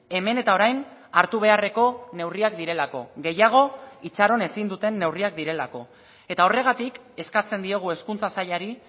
hemen eta orain hartu beharreko neurriak direlako gehiago itxaron ezin duten neurriak direlako eta horregatik eskatzen diogu hezkuntza sailari